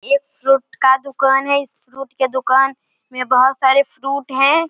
एक फ्रूट का दुकान है इस फ्रूट के दुकान में बहुत सारे फ्रूट है।